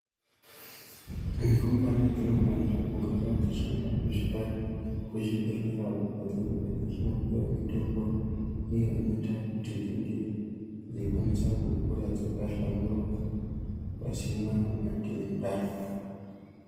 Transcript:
Rumbwana dzinofanira kugarawo dzichienda chizvibhehlera uko kwadzinenge dzichinopiwa mitombo iyo inoita kuti dzinge dzeikwanisa kukura dzakahlamburuka, pasina matenda.